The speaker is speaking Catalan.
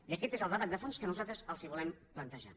i aquest és el debat de fons que nosaltres els volem plantejar